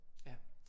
Ja